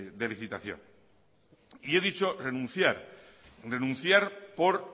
de licitación y he dicho renunciar renunciar por